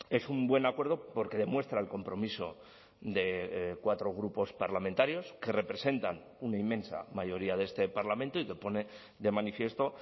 es un buen acuerdo porque demuestra el compromiso de cuatro grupos parlamentarios que representan una inmensa mayoría de este parlamento y que pone de manifiesto